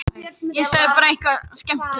Ég ætla að labba með þér heim